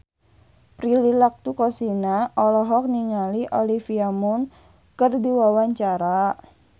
Prilly Latuconsina olohok ningali Olivia Munn keur diwawancara